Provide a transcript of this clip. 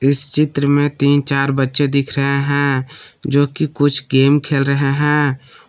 इस चित्र में तीन चार बच्चे दिख रहे हैं जो कि कुछ गेम खेल रहे हैं।